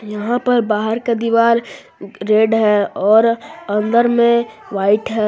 यहां पर बाहर का दीवार रेड है और अंदर में व्हाइट है।